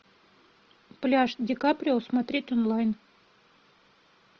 пляж ди каприо смотреть онлайн